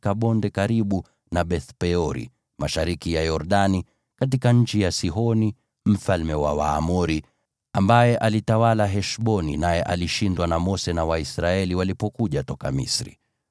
nao walikuwa katika bonde karibu na Beth-Peori mashariki ya Yordani, katika nchi ya Sihoni mfalme wa Waamori, ambaye alitawala Heshboni, naye alishindwa na Mose na Waisraeli walipokuja toka Misri.